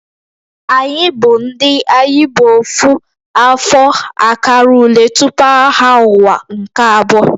Anyị bụ ndị "Ayi bu Ofu" afọ akara ule tupu Agha Ụwa nke Abụọ"